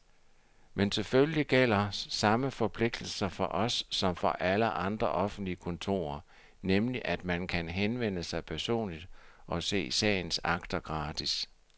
Men selvfølgelig gælder samme forpligtelser for os som for alle andre offentlige kontorer, nemlig at man kan henvende sig personligt og se sagens akter gratis.